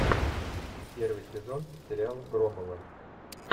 первый сезон сериал громовы